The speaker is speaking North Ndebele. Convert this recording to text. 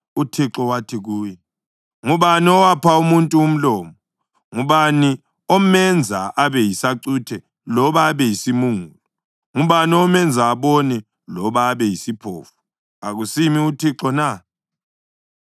UThixo wathi kuye, “Ngubani owapha umuntu umlomo? Ngubani omenza abe yisacuthe loba abe yisimungulu? Ngubani omenza abone loba abe yisiphofu? Akusimi uThixo na?